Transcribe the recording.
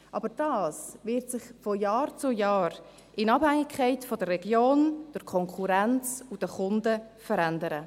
Doch dies wird sich von Jahr zu Jahr in Abhängigkeit der Region, der Konkurrenz und der Kunden verändern.